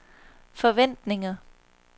forventninger